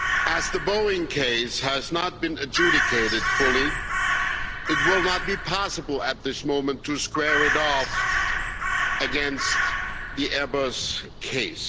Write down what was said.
As the Boeing case has not been adjudicated fully, it will not be possible at this moment to square it off against the Airbus case.